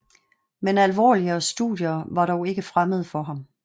Men alvorligere studier var dog ikke fremmede for ham